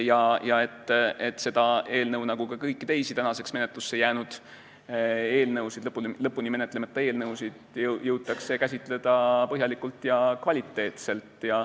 Loodan, et seda eelnõu ja ka kõiki teisi menetlusse jäänud ja lõpuni menetlemata eelnõusid jõutakse käsitleda põhjalikult ja kvaliteetselt.